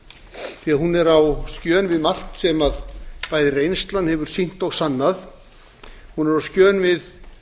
því hún er á skjön við margt sem bæði reynslan hefur sýnt og sannað hún er á skjön við